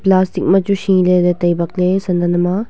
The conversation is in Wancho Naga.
plastic ma chu shele le tai bak le san ajam a.